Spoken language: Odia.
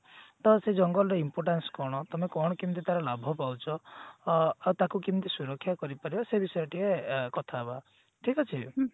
ତ ସେ ଜଙ୍ଗଲ ର importance କଣ ତମେ କଣ ମେମିତି ତାର ଲାଭ ପାଉଛ ଅ ଆଉ ତାକୁ କେମତି ସୁରକ୍ଷା କରି ଅପରିବା ସେ ବିଷୟରେ ଟିକେ କଥା ହେବା ଠିକ ଅଛି